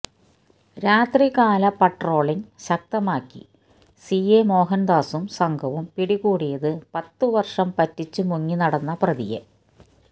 രാത്രികാല പാട്രോളിംഗ് ശക്തമാക്കി സിഐ മോഹനദാസും സംഘവും പിടികൂടിയത് പത്തുവര്ഷം പറ്റിച്ചു മുങ്ങിനടന്ന പ്രതിയെ